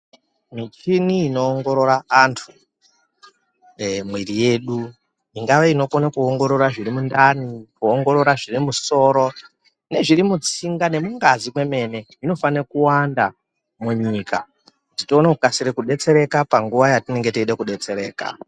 Michini inoongorora antu ee mwiri yedu ingave inokona kuongorora zviri mundani kuongorora zviri mumusoro, zvirimutsinga nezviri mungazi kwemene. Zvinofanire kuwanda munyika kuti tione kukasire kubetsereka panguva yatinenge teida kubetsereka.